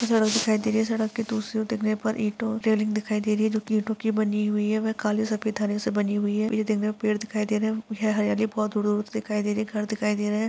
सड़क दिखाई दे रही है सड़क की दूसरे ओर देखने पर इटो रेलिंग दिखाई दे रही है जो की इटो की बनी हुई है वे काले सफ़ेद धारियों से बनी हुई है यह जंगल पेड़ दिखाई दे रहे यहाँ हरियाली बहुत दूर दूर दिखाई दे रह है घर दिखाई दे रहा है।